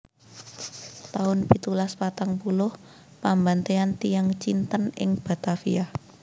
taun pitulas patang puluh Pambantéyan tiyang Cinten ing Batavia